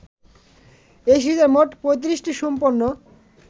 এই সিরিজের মোট ৩৫টি সম্পূর্ণ